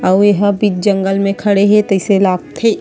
अउ ये ह बीच जंगल में खड़े हे तैसे लागथे।